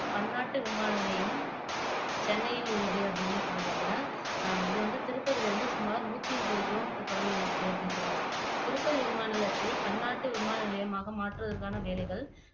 பன்னாட்டு விமான நிலையம் ச்ன்னையில் உள்ளது அப்படின்னும் சொல்றாங்க இது வந்து திருப்பதில இருந்து சுமார் நூற்றி முப்பது கிலோமீட்டர் தொலைவுல இருக்கு அப்படின்னு சொல்றாங்க திருப்பதி விமான நிலையத்தை பன்னாட்டு விமான நிலையமாக மாற்றுவதற்கான வேலைகள்